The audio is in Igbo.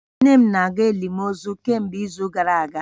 Nne m na-aga elimozu kemgbe izu gara aga